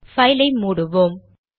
file ஐ மூடுவோம்